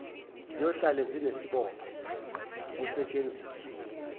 ziyohlale zinesibopho ngokusetshenziswa